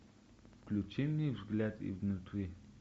включи мне взгляд изнутри